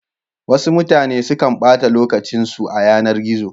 Wasu mutane sukan ɓata lokacin su a yanar gizo.